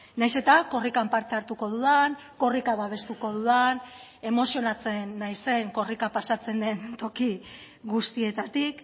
nahiz eta korrikan parte hartuko dudan korrika babestuko dudan emozionatzen naizen korrika pasatzen den toki guztietatik